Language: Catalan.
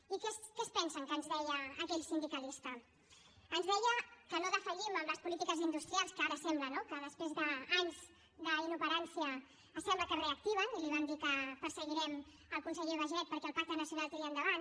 i què es pensen que ens deia aquell sindicalista ens deia que no defallim en les polítiques industrials que ara sembla no que després d’anys d’inoperància sembla que es reactiven i li vam dir que perseguirem el conseller baiget perquè el pacte nacional tiri endavant